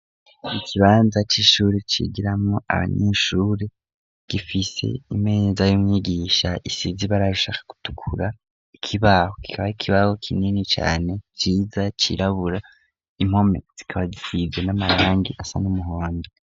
Ikibanza c'ishuri cigiramwo abanyeshuri, gifise imeza y'umyigisha isize ibara rishaka gutukura ikibaho kikaba ari ikibaho kinini cane ciza cirabura, impome zikaba zisize n'amarangi asa n'umuhondo.